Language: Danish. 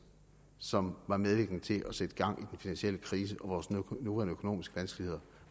som var medvirkende til at sætte gang i den finansielle krise og vores nuværende økonomiske vanskeligheder